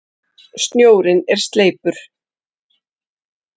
Snjórinn er sleipur!